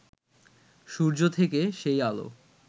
সূর্য থেকে সেই আলো